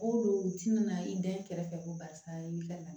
O don u tɛna na i dan ye kɛrɛfɛ ko barisa i bi ka na